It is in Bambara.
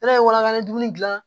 Ne ye waraba ni dumuni gilan